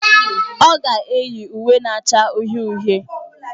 Ọ ga-eyi uwe na-acha uhie uhie.